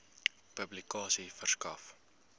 publikasie verskaf